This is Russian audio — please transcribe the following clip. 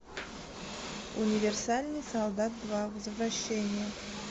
универсальный солдат два возвращение